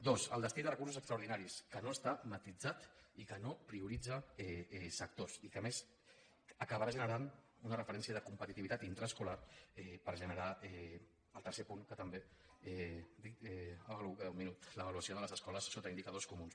dos el destí de recursos extraordinaris que no està matisat i que no prioritza sectors i que a més acabarà generant una referència de competitivitat intraescolar per generar el tercer punt que també dic em queda un minut l’avaluació de les escoles sota indicadors comuns